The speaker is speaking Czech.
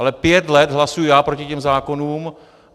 Ale pět let hlasuji já proti těm zákonům.